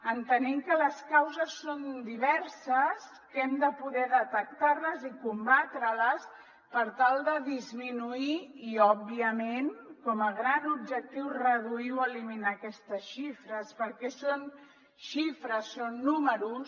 entenem que les causes són diverses que hem de poder detectar les i combatre les per tal de disminuir i òbviament com a gran objectiu reduir o eliminar aquestes xifres perquè són xifres són números